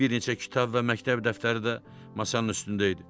Bir neçə kitab və məktəb dəftəri də masanın üstündə idi.